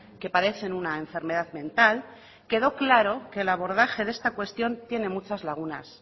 que padecen una enfermedad mental quedó claro que el abordaje de esta cuestión tiene muchas lagunas